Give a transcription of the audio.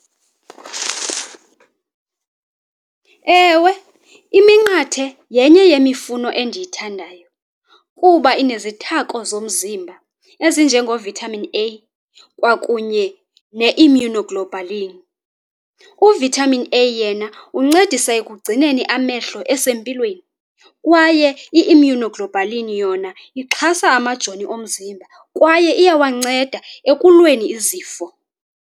Ewe, iminqathe yenye yemifuno endiyithandayo kuba inezithako zomzimba ezinje ngoVitamin A kwakunye ne-immunoglobulin. UVitamin A yena uncedisa ekugcineni amehlo esempilweni kwaye i-immunoglobulin yona ixhasa amajoni omzimba kwaye iyawanceda ekulweni izifo.